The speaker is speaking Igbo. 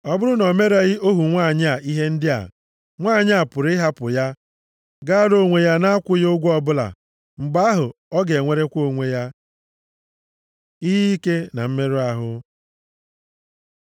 Ọ bụrụ na o mereghị ohu nwanyị a ihe ndị a, nwanyị a pụrụ ịhapụ ya gaara onwe ya na-akwụghị ụgwọ ọbụla. Mgbe ahụ, ọ ga-enwerekwa onwe ya. Ihe ike na mmerụ ahụ